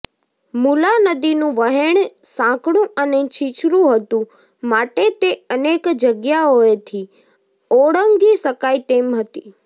મુલા નદીનું વહેણ સાંકડું અને છીછરું હતું માટે તે અનેક જગ્યાઓએથી ઓળંગી શકાય તેમ હતી